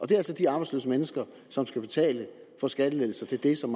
det er altså de arbejdsløse mennesker som skal betale for skattelettelser til det som